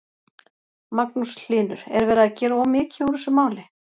Magnús Hlynur: Er verið að gera of mikið úr þessu máli?